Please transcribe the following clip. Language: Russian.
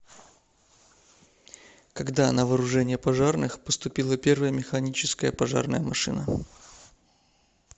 когда на вооружение пожарных поступила первая механическая пожарная машина